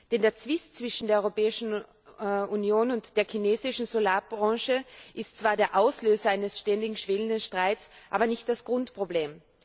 Denn der Zwist zwischen der Europäischen Union und der chinesischen Solarbranche ist zwar der Auslöser eines ständigen, schwelenden Streits, aber nicht das Grundproblem.